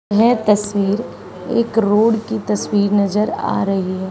यह तस्वीर एक रोड की तस्वीर नजर आ रही है।